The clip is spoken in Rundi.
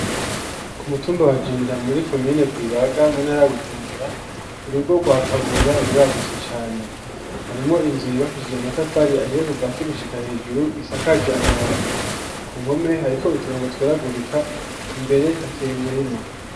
Ku mutumba wagenda muri komine rwibaga mu ntara bujumbura urugo rwakabura ruragutse cane harimo inzu yibakishije amatafari ahiye kuva hasi gushika hejuru isakaje amabati ku nkome hariko uturongo tweragurika imbere hateye umurima.